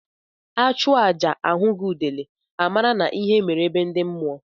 Achụọ aja ahughi udele a mara na ihe mere be ndị mmụọ.